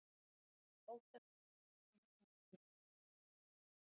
Óttast ofsóknir í heimalandinu